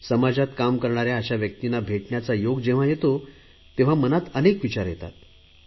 समाजात काम करणाऱ्या अशा व्यक्तींना भेटण्याचा योग जेव्हा येतो तेव्हा मनात अनेक विचार येतात